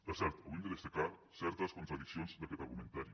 per cert avui hem de destacar certes contradiccions d’aquest argumentari